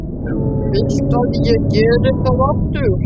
Viltu að ég geri það aftur?